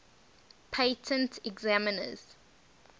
patent examiners